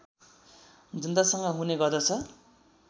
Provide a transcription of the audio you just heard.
जनतासँग हुने गर्दछ